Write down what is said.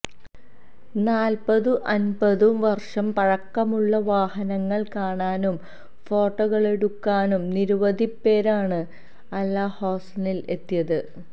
നാല്പ്പതും അന്പതും വര്ഷം പഴക്കമുള്ള വാഹനങ്ങള് കാണാനും ഫോട്ടോകളെടുക്കാനും നിരവധിപ്പേരാണ് അല് ഹൊസനില് എത്തിയത്